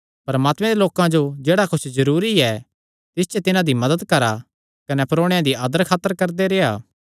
परमात्मे दे लोकां जो जेह्ड़ा कुच्छ जरूरी ऐ तिस च तिन्हां दी मदत करा कने परोणेयां दी आदर खातर करदे रेह्आ